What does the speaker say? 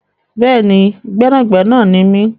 Bẹ́ẹ̀ni, gbẹ́nàgbẹnà ni mi.